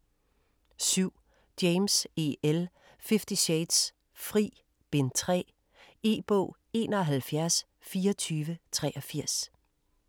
7. James, E. L.: Fifty shades: Fri: Bind 3 E-bog 712483